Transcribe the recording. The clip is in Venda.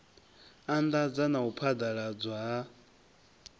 anḓadza na u phaḓaladzwa ha